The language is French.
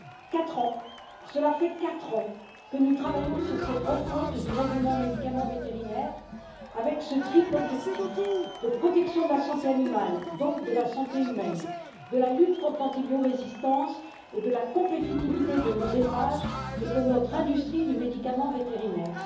Quatre ans, cela fait quatre ans que nous travaillons sur cette refonte du règlement médicaments vétérinaires avec ce triple objectif de protection de la santé animale donc de la santé humaine de la lutte contre l'antibiorésistance et de la compétitivité de nos élevages et de notre industrie du médicament vétérinaire.